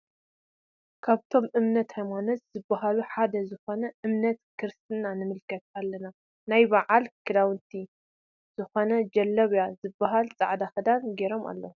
ካበቶም እምነት ሃይማኖት ዝብሃሉ ሓደ ዝኮነ እምነት ክርሰትና ንምልከት ኣለና ናይ ብዓል ክዳውነቲ ዘኮነ ጀለብያ ዝበሃል ፃዕዳ ክዳን ገይሮም አለዉ።